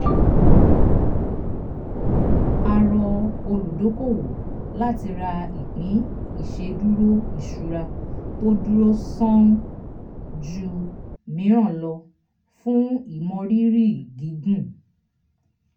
a rọ olùdókòwò láti ra ìpín ìṣedúró ìṣura tó dúró sán-ún ju mìíràn lọ fún ìmọrírì gígùn.